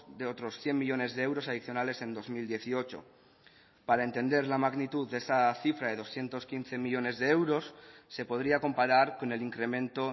de otros cien millónes de euros adicionales en dos mil dieciocho para entender la magnitud de esa cifra de doscientos quince millónes de euros se podría comparar con el incremento